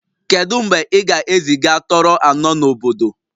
Kedu mgbe ị ga-eziga Toro anọ n'obodo?